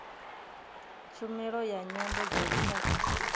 tshumelo ya nyambo dza lushaka